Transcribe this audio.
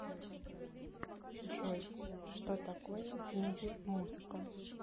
джой что такое инди музыка